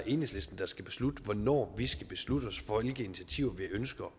enhedslisten der skal beslutte hvornår vi skal beslutte os for hvilke initiativer vi ønsker